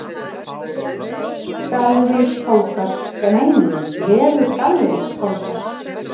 Vefur Gallerís Foldar